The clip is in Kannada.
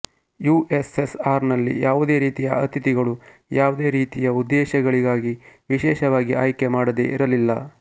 ಯುಎಸ್ಎಸ್ಆರ್ನಲ್ಲಿ ಯಾವುದೇ ರೀತಿಯ ಅತಿಥಿಗಳು ಯಾವುದೇ ರೀತಿಯ ಉದ್ದೇಶಗಳಿಗಾಗಿ ವಿಶೇಷವಾಗಿ ಆಯ್ಕೆ ಮಾಡದೆ ಇರಲಿಲ್ಲ